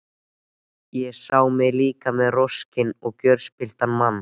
Ég sá mig líka sem roskinn, gjörspilltan mann.